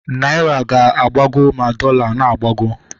Naira ga na-agbago ma dọla na-agbago